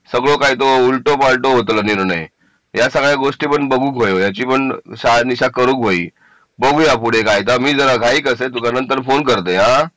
सगळं काय तो उलटो पार्टीला निर्णय या सगळ्या गोष्टी बघू या याची पण शहानिशा करू होईल बघूया पुढे काय आता मी जरा घाई ता तुला नंतर फोन करतय हा